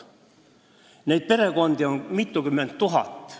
Neid perekondi on mitukümmend tuhat.